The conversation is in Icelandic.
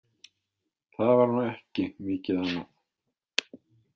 Það var nú ekki mikið annað.